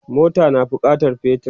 mota na bukatan petir